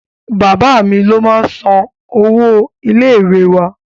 Bàbá mi ló máá ń san owó ilé ìwé wa